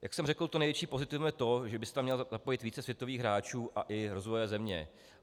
Jak jsem řekl, to největší pozitivum je to, že by se tam mělo zapojit více světových hráčů a i rozvojové země.